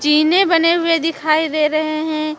चीने बने हुए दिखाई दे रहे हैं।